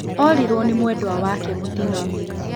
Orirwo nĩ mwenda wake mũtino-inĩ